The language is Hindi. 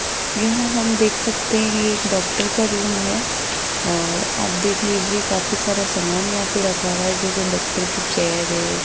यहां हम देख सकते हैं ये एक डॉक्टर का रूम है और आप देख लीजिए काफी सारा सामान यहां पे रखा हुआ है जैसे डॉक्टर की चेयर है।